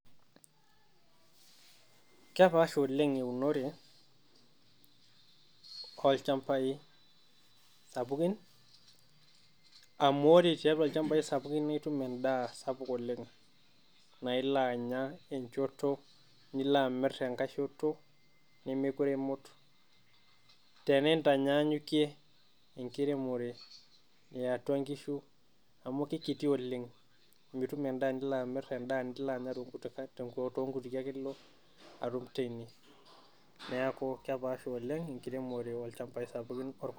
Kaapasha oleng eunore oolchambai sapukin. Amu ore teatua oolchambai sapukin nituum endaa sapuk oleng, naeloo anyaa enchotoo niloo amirik ang'ashotoo namekoree emuut. Tenetaanyanyuke enkirimore ee antua eng'shuu amu kekiti oleng. Mituum endaa nilo amiir, endaa nilo anyaa te ong'utike ake elo atuum teiyee. Neeku keepaasha oleng nkirimore oolchambai sapukin.